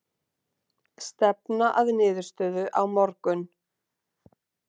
Stefna að niðurstöðu á morgun